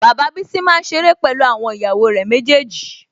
Bàbá Bísí máa ń ṣeré pẹ̀lú àwọn ìyàwó rẹ̀ méjèèjì